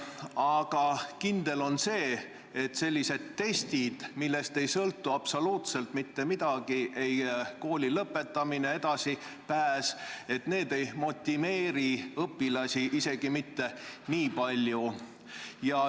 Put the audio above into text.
Aga kindel on see, et sellised testid, millest ei sõltu absoluutselt mitte midagi, ei kooli lõpetamine, ei edasipääs, ei motiveeri õpilasi isegi mitte niipalju.